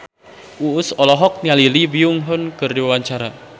Uus olohok ningali Lee Byung Hun keur diwawancara